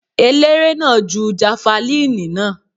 Eléré náà ju jafalíìnì náà.